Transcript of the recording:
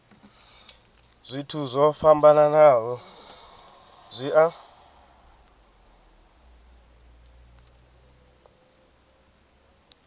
zwithu zwo fhambanaho zwi a